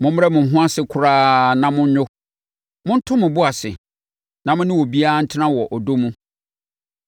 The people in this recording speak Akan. Mommrɛ mo ho ase koraa na monnwo; monto mo bo ase, na mone obiara ntena wɔ ɔdɔ mu.